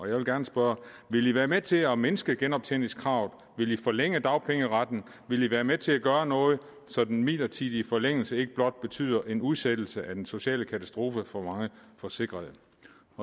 jeg vil gerne spørge vil i være med til at mindske genoptjeningskravet vil i forlænge dagpengeretten vil i være med til at gøre noget så den midlertidige forlængelse ikke blot betyder en udsættelse af den sociale katastrofe for mange forsikrede